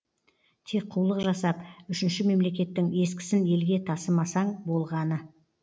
тек қулық жасап үшінші мемлекеттің ескісін елге тасымасаң болғаны